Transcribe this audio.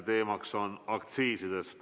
Teemaks on aktsiisid.